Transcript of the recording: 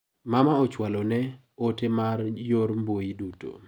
Mama ochwalo na ote mag nyor mbui duto.